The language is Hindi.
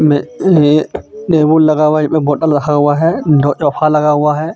मे ये टेबुल लगा हुआ है एक बॉटल रखा हुआ है दो सोफा लगा हुआ है.